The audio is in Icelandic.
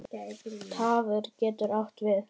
Tarfur getur átt við